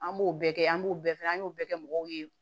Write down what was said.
An b'o bɛɛ kɛ an b'o bɛɛ fɔ an y'o bɛɛ kɛ mɔgɔw ye